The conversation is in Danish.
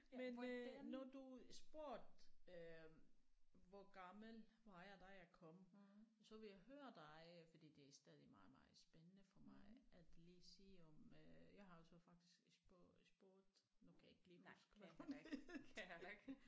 Men øh når du spurgte øh hvor gammel var jeg da jeg kom så vil jeg høre dig fordi det er stadig meget meget spændende for mig at lige sige om øh jeg har også faktisk spurgt spurgt nu kan jeg ikke lige huske hvad hun hed